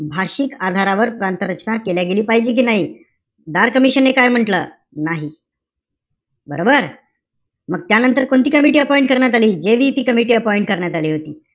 भाषिक आधारावर प्रांत रचना केल्या गेली पाहिजे कि नाई? धार कमिशन ने काय म्हंटल? नाही. बरोबर? त्यानंतर कोणती कमिटी appoint करण्यात आली. JVP कमिटी करण्यात आली होती.